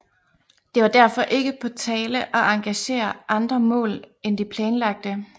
Det var derfor ikke på tale at engagere andre mål end de planlagte